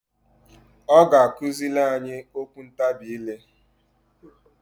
Ọ ga akụzịlị anyị okwu ntabị ile.